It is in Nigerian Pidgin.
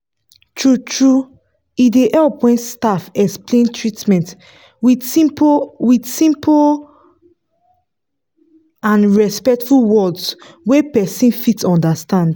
true-true e dey help when staff explain treatment with simple with simple and respectful words wey person fit understand.